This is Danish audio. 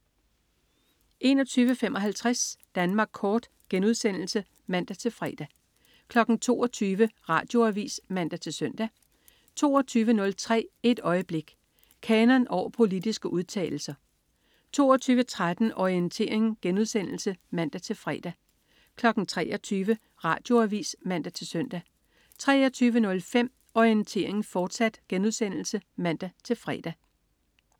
21.55 Danmark Kort* (man-fre) 22.00 Radioavis (man-søn) 22.03 Et øjeblik. Kanon over politiske udtalelser 22.13 Orientering* (man-fre) 23.00 Radioavis (man-søn) 23.05 Orientering, fortsat* (man-fre)